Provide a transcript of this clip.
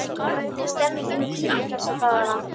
Hvernig er stemningin hjá Ými þessa dagana?